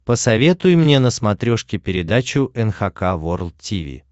посоветуй мне на смотрешке передачу эн эйч кей волд ти ви